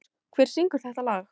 Sigurrós, hver syngur þetta lag?